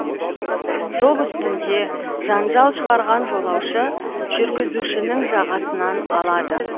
жол үстінде жанжал шығарған жолаушы жүргізушінің жағасынан алады